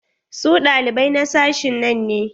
Su ɗalibai na sashin nan ne?